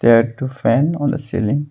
There are two fan on the ceiling.